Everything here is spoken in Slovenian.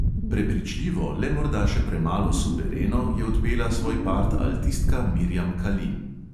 Prepričljivo, le morda še premalo suvereno je odpela svoj part altistka mirjam kalin.